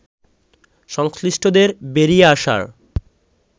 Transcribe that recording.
সংশ্লিষ্টদের বেরিয়ে আসার